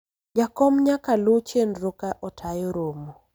jakom nyaka luw chenro ka otayo romo